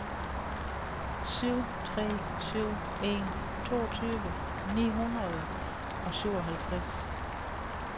syv tre syv en toogtyve ni hundrede og syvoghalvtreds